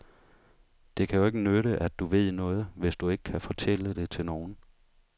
Det kan jo ikke nytte at du ved noget, hvis du ikke kan fortælle det til nogen.